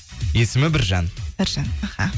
есімі біржан біржан аха